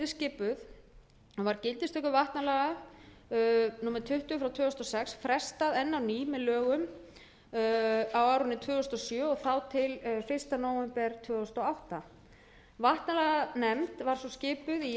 skipuð og var gildistöku vatnalaga númer tuttugu tvö þúsund og sex frestað enn á ný með lögum á árinu tvö þúsund og sjö og þá til fyrsta nóvember tvö þúsund og átta vatnalaganefnd var svo skipuð í